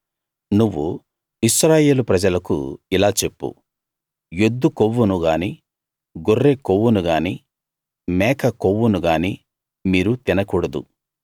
నువ్వు ఇశ్రాయేలు ప్రజలకు ఇలా చెప్పు ఎద్దు కొవ్వును గానీ గొర్రె కొవ్వును గానీ మేక కొవ్వును గానీ మీరు తిన కూడదు